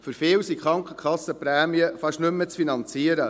Für viele sind die Krankenkassenprämien fast nicht mehr zu finanzieren.